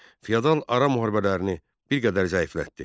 Feodal ara müharibələrini bir qədər zəiflətdi.